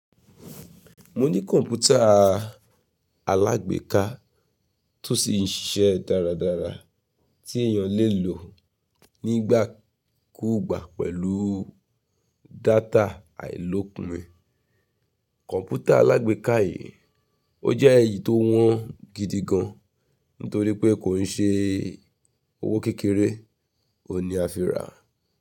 Mo ní kọ̀npútà alágbèéká tó sì ń ṣiṣẹ́ dáradára tí èèyàn lè lò nígbàkúùgbà pẹ̀lú data àìlòpin. Kọ̀npútà alágbèéká yìí, ó jẹ́ èyí tó wọ́n gidi gan, nítorí pé kò ń ṣe owó kékeré, ò ní a fi rà.